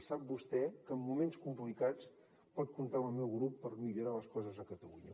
i sap vostè que en moments complicats pot comptar amb el meu grup per millorar les coses a catalunya